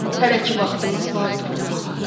Hələ ki vaxtımız var durulmağa.